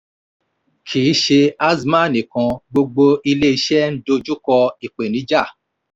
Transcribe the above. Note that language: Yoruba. kì í ṣe azman nìkan gbogbo ilé iṣẹ́ ń dojú kọ ìpènijà.